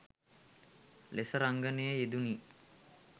ලෙස රංගනයේ යෙදුනි